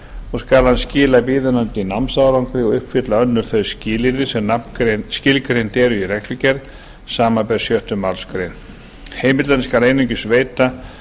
og skal hann skila viðunandi námsárangri og uppfylla önnur þau skilyrði sem skilgreind eru í reglugerð samanber sjöttu málsgrein heimildina skal einungis veita